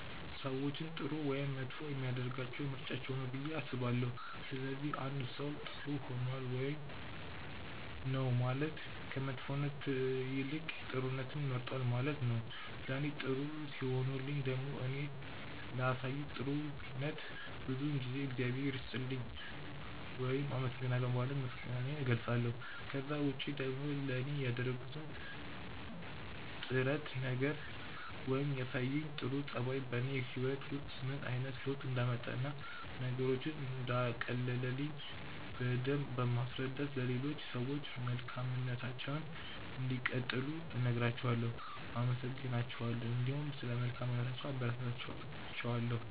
ሰዎችን ጥሩ ወይም መጥፎ የሚያደርጋቸው ምርጫቸው ነው ብዬ አስባለሁ። ስለዚህ አንድ ሰው ጥር ሆኗል ውይም ነው ማለት ከመጥፎነት ይልቅ ጥሩነትን መርጧል ነው ማለት ነው። ለኔ ጥሩ ሲሆኑልኝ ደግሞ እኔ ላሳዩኝ ጥሩነት ብዙውን ጊዜ እግዚአብሔር ይስጥልኝ ውይም አመሰግናለሁ በማለት ምስጋናዬን እገልጻለሁ። ከዛ ውጪ ደግሞ ለኔ ያደረጉት ጥረት ነገር ወይም ያሳዩኝ ጥሩ ጸባይ በኔ ህይወት ውስጥ ምን አይነት ለውጥ እንዳመጣ እና ነገሮችን እንዳቀለለልኝ በደምብ በማስረዳት ለሌሎች ሰዎችም መልካምነታቸውን እንዲቀጥሉ እነግራቸዋለው፣ አመሰግናቸዋለሁ እንዲሁም ስለ መልካምነታቸው አበረታታቸዋለሁ።